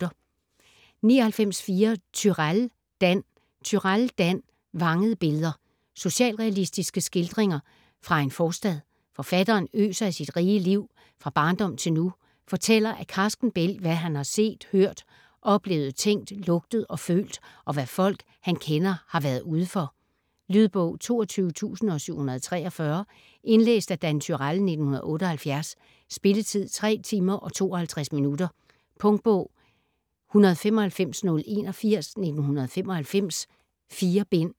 99.4 Turèll, Dan Turèll, Dan: Vangede billeder Socialrealistiske skildringer fra en forstad. Forfatteren øser af sit rige liv, fra barndom til nu, fortæller af karsken bælg hvad han har set, hørt, oplevet, tænkt, lugtet og følt, og hvad folk han kender har været ude for. Lydbog 22743 Indlæst af Dan Turèll, 1978. Spilletid: 3 timer, 52 minutter. Punktbog 195081 1995. 4 bind.